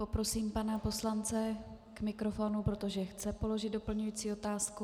Poprosím pana poslance k mikrofonu, protože chce položit doplňující otázku.